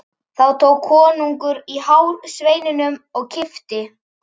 Þá tók konungur í hár sveininum og kippti.